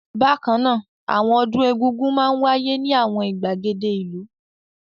Bákan náà, àwọn ọdún Egúngún máa ń wáyé ní àwọn ìgbàgede ìlú.